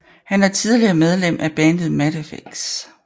Han er tidligere medlem af bandet Mattafix